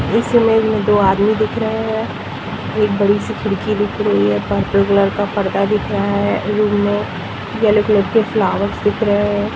इस इमेज मे दो आदमी दिख रहे हे एक बड़ी सी खिड़की दिख रही हे पर्पल कलर का पर्दा दिख रहा हे रूम मे येलो कलर फ्लावर्स दिख रहे हे ।